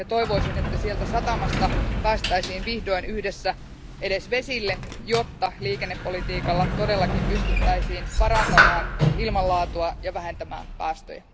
Toivoisin, että sieltä satamasta päästäisiin vihdoin yhdessä edes vesille, jotta liikennepolitiikalla todellakin pystyttäisiin parantamaan ilmanlaatua ja vähentämään päästöjä.